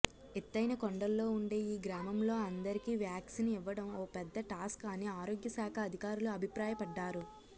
ఎత్తైన కొండల్లో ఉండే ఈ గ్రామంలో అందరికీ వ్యాక్సిన్ ఇవ్వడం ఓ పెద్ద టాస్క్ అని ఆరోగ్యశాఖ అధికారులు అభిప్రాయపడ్డారు